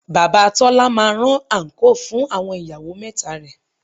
Bàbá Tọ́lá máa rán àńkò fún àwọn ìyàwó mẹ́ta rẹ̀